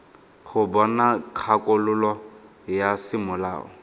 go bona kgakololo ya semolao